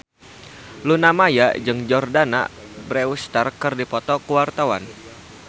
Luna Maya jeung Jordana Brewster keur dipoto ku wartawan